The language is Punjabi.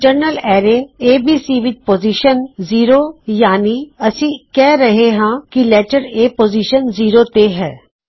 ਇੰਨਟਰਨਲ ਐਰੇ ਏਬੀਸੀ ਵਿੱਚ ਪੋਜ਼ਿਸ਼ਨ ਜ਼ੀਰੋ ਯਾਨੀ ਅਸੀਂ ਕਿਹ ਰਹੇ ਹਾਂ ਕੀ ਲੈਟਰ A ਪੋਜ਼ਿਸ਼ਨ 0 ਤੇ ਹੈ